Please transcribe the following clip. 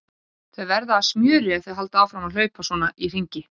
Þau verða að smjöri ef þau halda áfram að hlaupa svona í hringi.